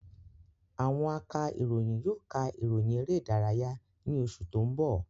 Àwọn aka ìròyìn yóò ka ìròyìn eré ìdárayá ni oṣù tó ń bọ̀